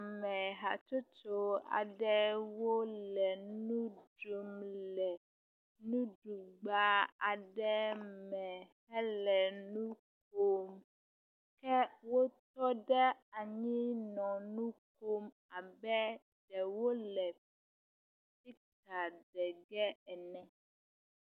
Ame hatsotso aɖewo le nu ɖum le nuɖugba aɖe me hele nu ƒom. Wotɔ ɖe anyi nɔ nu ƒom abe wole…ene.